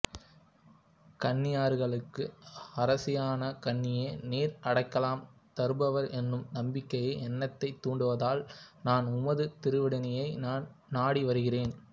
கன்னியர்களுக்கு அரசியான கன்னியே நீர் அடைக்கலம் தருபவர் என்னும் நம்பிக்கை என்னைத் தூண்டுவதால் நான் உமது திருவடியை நாடி வருகிறேன்